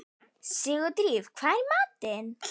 Sigurdríf, hvað er í matinn?